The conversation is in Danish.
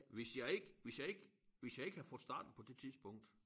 Hvis jeg ikke hvis jeg ikke hvis jeg ikke havde fået startet på det tidspunkt